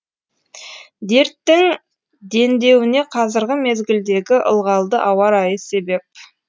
дерттің дендеуіне қазіргі мезгілдегі ылғалды ауа райы себеп